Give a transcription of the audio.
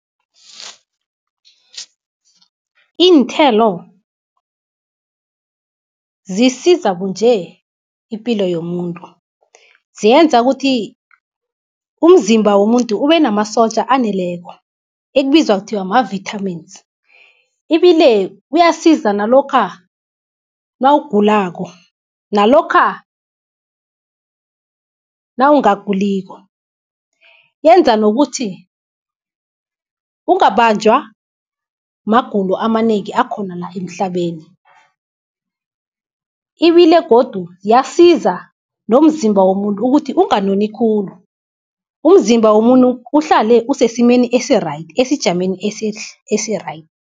Iinthelo zisiza kunje ipilo yomuntu, ziyenza ukuthi umzimba womuntu ubenamasotja aneleko, ekubizwa ekuthiwa ma-vitamins. Ibile kuyasiza nalokha nawugulako, nalokha nawungaguliko. Yenza nokuthi ungabanjwa magulo amanengi, akhona la emhlabeni. Ibile godu iyasiza nomzimba womuntu, ukuthi unganoni khulu, umzimba womuntu uhlale usesimeni esi-right, esejameni esi-right.